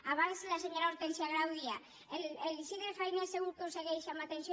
abans la senyora hortènsia grau deia l’isidre fainé segur que ho segueix amb atenció